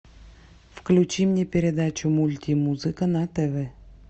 включи мне передачу мультимузыка на тв